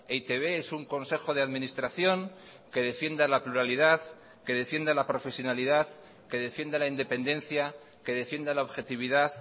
e i te be es un consejo de administración que defienda la pluralidad que defienda la profesionalidad que defienda la independencia que defienda la objetividad